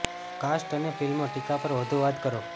cast અને ફિલ્મો ટીકા પર વધુ વાત કરો